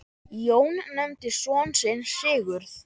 Jón nefndi son sinn Sigurð.